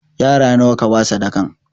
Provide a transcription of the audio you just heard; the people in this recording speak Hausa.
Yara nawa kaba sadakan?